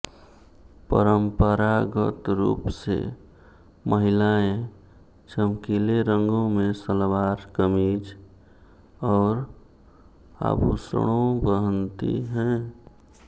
परंपरागत रूप से महिलाएं चमकीले रंगों में सलवार कमीज़ और आभूषणों पहनती हैं